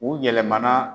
U yɛlɛmana